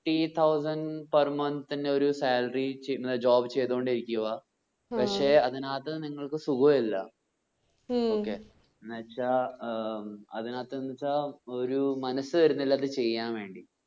fifty thousand per month ന്റെ ഒരു salary ചെയ്യ് ഒരു job ചെയ്‌തോണ്ടേ ഇരിക്കു ആ പക്ഷെ അതിനാകത്ത് നിങ്ങൾക്ക് സുഗുല്ല. ഉം okay എന്ന് വെച്ചാ ഏർ അതിനാഥ്‌ എന്ന് വെച്ച ഒരു മനസ്സ് വരുന്നില്ല അത് ചെയ്യാൻ വേണ്ടി